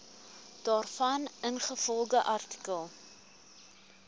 daarvan ingevolge artikel